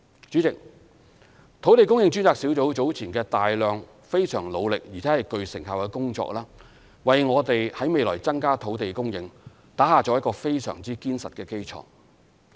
主席，專責小組早前大量、非常努力且具成效的工作為我們未來增加土地供應打下了一個非常堅實的基礎。